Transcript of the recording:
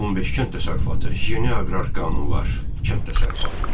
15 kənd təsərrüfatı, yeni aqrar qanunlar, kənd təsərrüfatı.